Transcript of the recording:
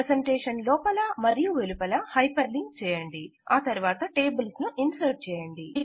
presentation లోపల వెలుపల hyperlink చేయండి మరియు టేబుల్స్ ఇన్సర్ట్ చేయండి